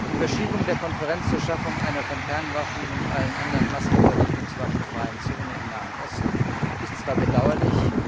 Die Verschiebung der Konferenz zur Schaffung einer von Kernwaffen und allen anderen Massenvernichtungswaffen freien Zone im Nahen Osten ist zwar bedauerlich